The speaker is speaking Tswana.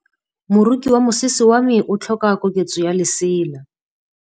Moroki wa mosese wa me o tlhoka koketsô ya lesela.